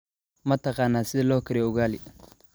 Ma taqaan sida loo kariyo ugali?